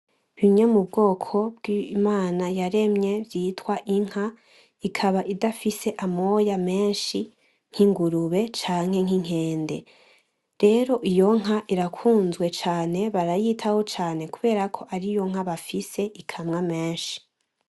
Bimye mu bwoko bw’Imana yaremye vyitwa inka, ikaba idafise amoya menshi nk’ingurube canke nk’inkende. Rero iyo nka irakunzwe cane barayitaho cane kubera ko ariyo nka bafise ikamwa menshi